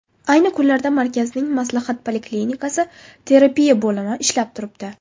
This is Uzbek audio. Ayni kunlarda markazning maslahat poliklinikasi, terapiya bo‘limi ishlab turibdi.